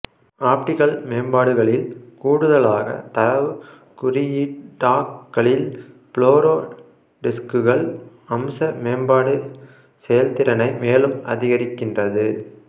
optical மேம்பாடுகளில் கூடுதலாக தரவு குறியீடாக்கலில் ப்ளூரே டிஸ்க்குகள் அம்ச மேம்பாடு செயல்திறனை மேலும் அதிகரிக்கின்றது